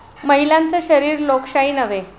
महिलांचं शरीर लोकशाही नव्हे!'